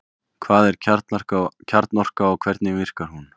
Hvað er kjarnorka og hvernig virkar hún?